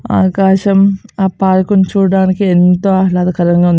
ఆకాశం ఆ పార్క్ ని చూడటానికి ఎంతో ఆహ్లాదకరంగా ఉంది.